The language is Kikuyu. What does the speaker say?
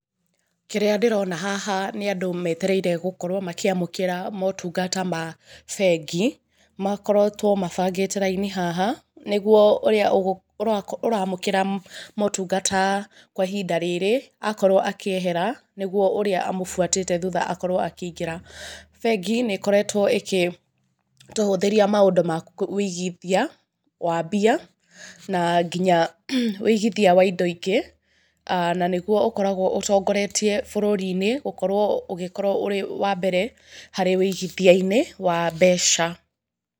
Kĩrĩa ndĩrona haha nĩ andu metereire gũkorwo makĩamũkĩra motungata ma bengi. Makoretwo mabangĩte raini haha, nĩguo ũrĩa ũramũkĩra motungata, kwa ihinda rĩrĩ, akorwo akĩehera, nĩ guo ũrĩa amũbuatĩte thuta akorwo akĩingĩra. Bengi nĩ ĩkoretwo ĩkĩtũhũthĩria maũndũ ma wĩigithia wa mbia na nginya wĩigithia wa indo ingĩ. Na nĩ guo ũkoragwo ũtongoretie bũrũri-inĩ gũkorwo ũgĩkorwo ũrĩ wa mbere, harĩ wĩigithia-inĩ wa mbeca.